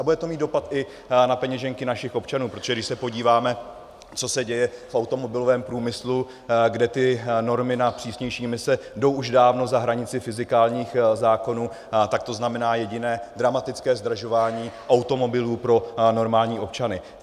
A bude to mít dopad i na peněženky našich občanů, protože když se podíváme, co se děje v automobilovém průmyslu, kde ty normy na přísnější imise jdou už dávno za hranici fyzikálních zákonů, tak to znamená jediné: dramatické zdražování automobilů pro normální občany.